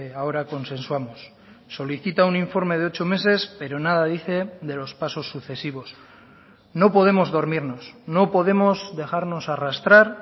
ahora consensuamos solicita un informe de ocho meses pero nada dice de los pasos sucesivos no podemos dormirnos no podemos dejarnos arrastrar